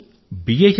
చదివారు ఆమె